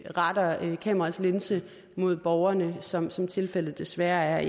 retter kameraets linse mod borgerne som som tilfældet desværre